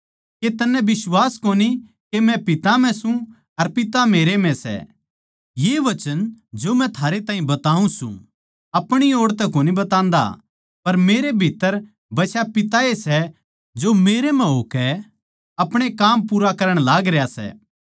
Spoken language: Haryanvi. के तन्नै बिश्वास कोनी के मै पिता म्ह सूं अर पिता मेरै म्ह सै ये वचन जो मै थारै ताहीं बताऊँ सूं अपणी ओड़ तै कोनी बतान्दा पर मेरे भित्तर बसा पिता ए सै जो मेरे म्ह होकै अपणे काम पूरा करण लागरया सै